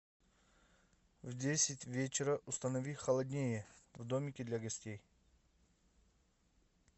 в десять вечера установи холоднее в домике для гостей